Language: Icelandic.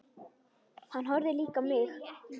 Hann horfði líka á mig.